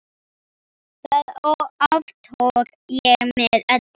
Það aftók ég með öllu.